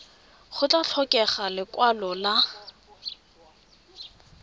go tla tlhokega lekwalo la